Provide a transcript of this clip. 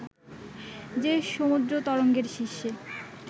যে সমুদ্র তরঙ্গের শীর্ষে